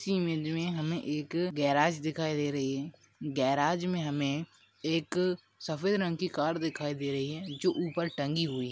इस इमेज में हमे एक गेराज दिखाई दे रही है गेराज में हमे एक सफ़ेद रंग की कार दिखाई दे रही है। जो ऊपर टंगी हुयी --